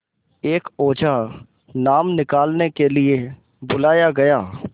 एक ओझा नाम निकालने के लिए बुलाया गया